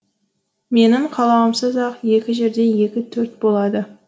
менің қалауымсыз ақ екі жерде екі төрт болады